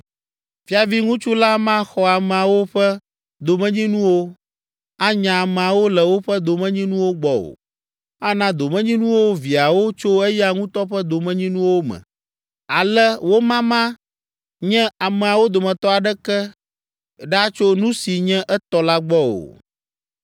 Fiaviŋutsu la maxɔ ameawo ƒe domenyinuwo, anya ameawo le woƒe domenyinuwo gbɔ o. Ana domenyinuwo viawo tso eya ŋutɔ ƒe domenyinuwo me, ale womama nye ameawo dometɔ aɖeke ɖa tso nu si nye etɔ la gbɔ o.’ ”